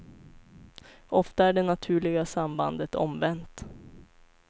Ofta är det naturliga sambandet omvänt.